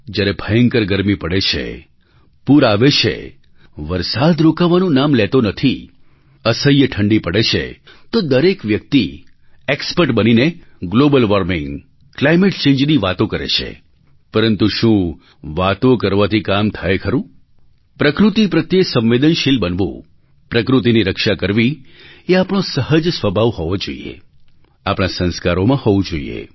જ્યારે ભયંકર ગરમી પડે છે પૂર આવે છે વરસાદ રોકાવાનું નામ લેતો નથી અસહ્ય ઠંડી પડે છે તો દરેક વ્યક્તિ ઍક્સ્પર્ટ બનીને ગ્લૉબલ વૉર્મિંગ ક્લાઇમેટ ચૅન્જની વાતો કરે છે પરંતુ શું વાતો કરવાથી કામ થાય ખરું પ્રકૃતિ પ્રત્યે સંવેદનશીલ બનવું પ્રકૃતિની રક્ષા કરવી એ આપણો સહજ સ્વભાવ હોવો જોઈએ આપણા સંસ્કારોમાં હોવું જોઈએ